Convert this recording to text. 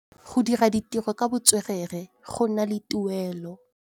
Go dira ditirô ka botswerere go na le tuelô.